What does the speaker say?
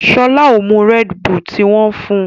Shola o mú Red Bull tí wón fún.